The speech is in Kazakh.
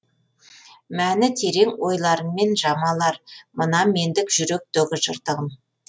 мәні терең ойларыңмен жамалар мына мендік жүректегі жыртығым